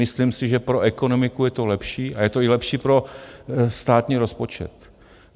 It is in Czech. Myslím si, že pro ekonomiku je to lepší a je to i lepší pro státní rozpočet.